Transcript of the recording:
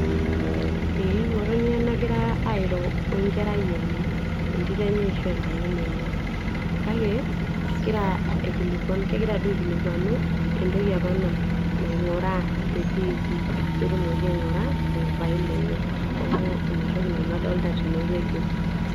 ee ng'otonye nagira airo wenkerai enye entito enye ashu enkayioni enye kake kegira aikilikuan, kegira duo aikilikuanu entoki apa naing'uraa te tv peetumoki aing'ura opapai lenye neeku ina toki nanu adolita tenewueji.